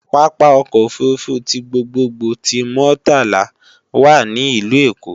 Pápá ọkọ̀ òfurufú ti gbogbogbò ti Muritala wà ní ìlú Èkó